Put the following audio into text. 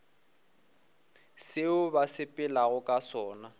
seo ba sepelago ka sona